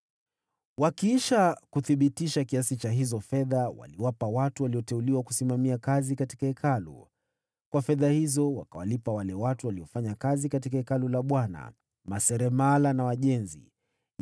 Wakiisha kuthibitisha kiasi cha hizo fedha, waliwapa watu walioteuliwa kusimamia kazi katika Hekalu. Kwa fedha hizo, wakawalipa wale watu waliofanya kazi katika Hekalu la Bwana : yaani, maseremala na wajenzi,